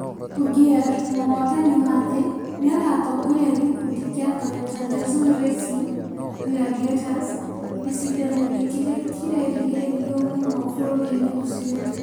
Ogier, mũhotani wa thĩ nĩ agatongoria gĩkundi kĩa Toyota Gazoo Racing gladiators gĩcindano-inĩ kĩrĩa kĩrerĩgĩrĩrũo mũno bũrũri-inĩ ũcio.